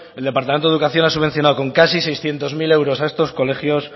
el departamento de educación ha subvencionado con casi seiscientos mil euros a estos colegios